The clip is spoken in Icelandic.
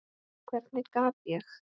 Hvernig gat ég.